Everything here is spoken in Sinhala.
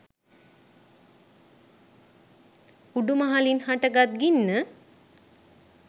උඩු මහලින් හට ගත් ගින්න